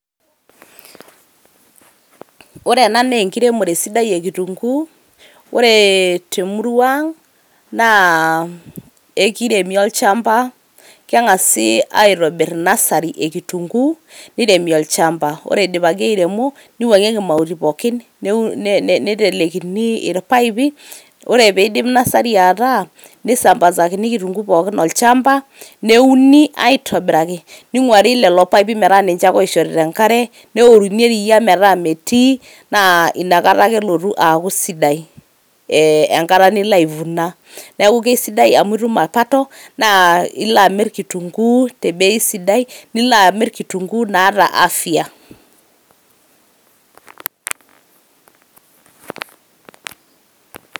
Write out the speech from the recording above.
Ore ena naa enkiremore sidai e kitunguu, ore temurrua aang' naa kiremi olchamba, keng'asi aitobir nasari e kitunguu niremi olchamba. Ore idipaki airemo, niwuang'ieki mautik pookin nitelekini irpaipi. Ore piidip nasari ataa nisambazakini kitunguu pookin olchamba, neuni aitobiraki ning'wari lelo paipi metaa ninje ake oishorita enkare, neworuni eriya metaa metii naa inakata ake elo aaku sidai enkata nilo aivuna. Neeku kesidai amu itum mapato naa ilo amir kitunguu te bei sidai, nilo amir kitunguu naata afya.